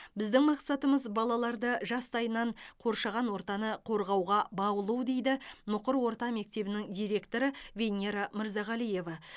біздің мақсатымыз балаларды жастайынан қоршаған ортаны қорғауға баулу дейді мұқыр орта мектебінің директоры венера мырзағалиева